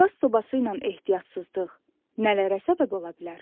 Qaz sobası ilə ehtiyatsızlıq nələrə səbəb ola bilər?